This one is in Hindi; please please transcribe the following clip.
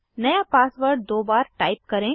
नया पासवर्ड दो बार टाइप करें